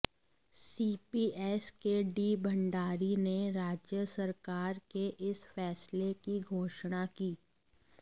CPS K D Bhandari ने राज्य सरकार के इस फैसले की घोषणा की